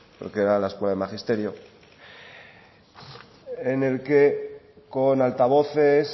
porque era en la escuela de magisterio en el que con altavoces